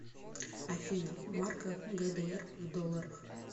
афина марка гдр в долларах